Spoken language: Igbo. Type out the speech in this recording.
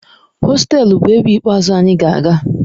Hostelu bụ ebe ikpeazụ anyị ga-aga.